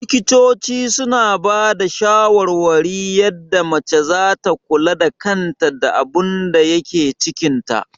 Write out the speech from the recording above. Likitoci suna bada shawarwari yadda mace zata kula da kanta da abunda yake cikin ta